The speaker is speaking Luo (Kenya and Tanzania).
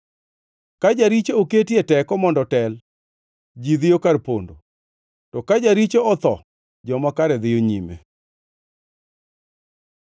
Ka jaricho oketi e teko mondo otel, ji dhiyo kar pondo; to ka jaricho otho joma kare dhiyo nyime.